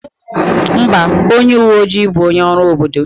Mba, onye uwe ojii bụ onye ọrụ obodo.